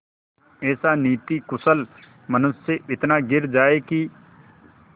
ऐसा नीतिकुशल मनुष्य इतना गिर जाए कि